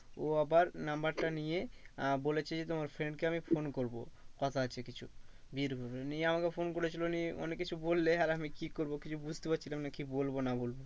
ও আবার number টা নিয়ে আহ বলেছে তোমার friend কে আমি phone করবো কথা আছে কিছু। নিয়ে আমাকে phone করেছিল নিয়ে অনেক কিছু বললে আর আমি কি করবো কিছু বুঝতে পারছিলাম কি বলবো না বলবো